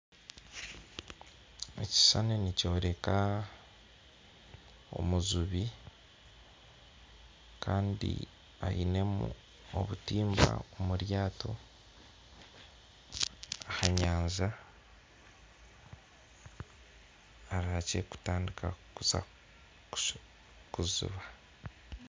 Ekishushani nikyoreka omujubi kandi ainemu obutimba omu ryato aha nyanja arihakye kutandika kuza kujuba